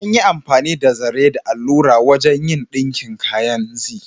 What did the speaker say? An yi amfani da zare da allura wajen yin ɗinkin kayan Zee.